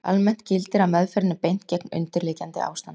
Almennt gildir að meðferðinni er beint gegn undirliggjandi ástandi.